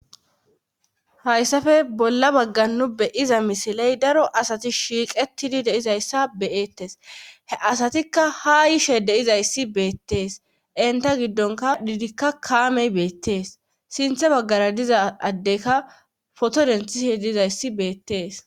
hayssafe bolla bagga nu beyiza misiley daro asati shiiqettidi deizayssa beyettes he asatikka ha yishe deizayssi beettees enta giddonka diidikka kaamey beettees sinthe baggara diza addeyka foto dentishe diizayssi beettees.